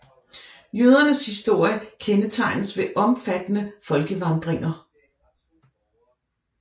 Jødernes historie kendetegnes ved omfattende folkevandringer